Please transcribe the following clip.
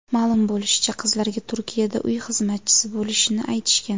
Ma’lum bo‘lishicha, qizlarga Turkiyada uy xizmatchisi bo‘lishini aytishgan.